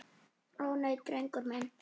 Ó, nei, drengur minn.